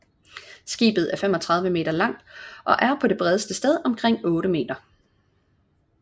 Skibet er 35 m langt og er på det bredeste sted omkring 8 m